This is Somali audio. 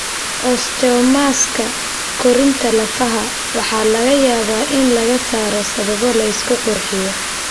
Osteomaska (koritaanka lafaha) waxaa laga yaabaa in laga saaro sababo la isku qurxiyo.